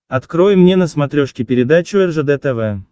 открой мне на смотрешке передачу ржд тв